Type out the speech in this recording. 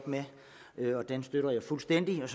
med og den støtter jeg fuldstændig og